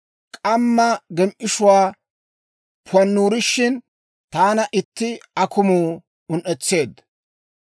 K'amma gem"ishshuwaa pannurishin, taana iita akumuu un"etseedda.